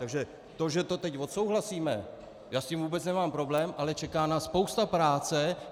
Takže to, že to teď odsouhlasíme, já s tím vůbec nemám problém, ale čeká nás spousta práce.